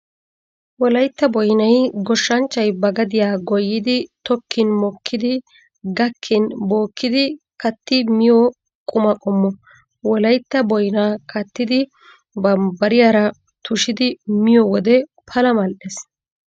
Wolaytta boynay goshshanchay ba gadiyaa goyyidi tokkin mokkidi gakkin bookkidi katti miyo quma qommo. Wolaytta boynaa kattidi bambbariyaa tushidi miyo wode pala mal'ees.